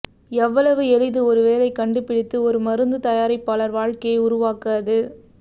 எவ்வளவு எளிது ஒரு வேலை கண்டுபிடித்து ஒரு மருந்துதயாரிப்பாளர் வாழ்க்கையை உருவாக்க அது